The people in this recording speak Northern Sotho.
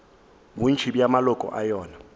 bontši bja maloko a yona